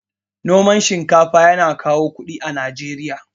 Noman shinkafa yana kawo kuɗi a Najeriya.